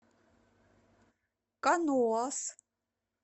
каноас